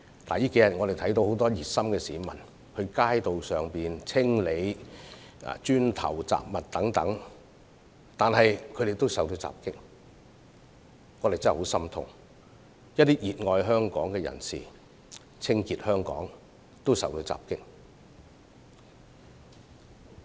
最近數天，我們看到很多熱心市民清理街道上的磚塊和雜物等，但他們也受到襲擊，真的教我們十分痛心，因為有熱愛香港的市民在清潔香港時竟然也受到襲擊。